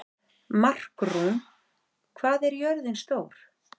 Markrún, hvað er jörðin stór?